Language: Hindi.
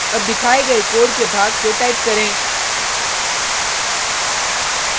अब दिखाए गये कोड के भाग को टाइप करें